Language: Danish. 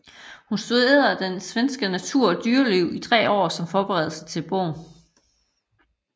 Hun studerede den svenske natur og dyreliv i tre år som forberedelse til bogen